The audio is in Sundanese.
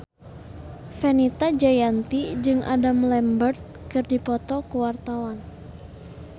Fenita Jayanti jeung Adam Lambert keur dipoto ku wartawan